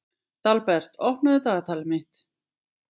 Dalbert, opnaðu dagatalið mitt.